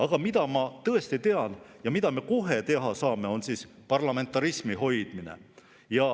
Aga ma tean, et see, mida me kohe saame teha, on parlamentarismi hoidmine.